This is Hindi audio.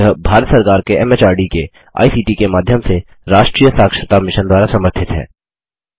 यह भारत सरकार के एमएचआरडी के आईसीटी के माध्यम से राष्ट्रीय साक्षरता मिशन द्वारा समर्थित है